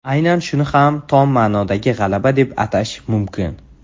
Aynan shuni ham tom ma’nodagi g‘alaba deb atash mumkin.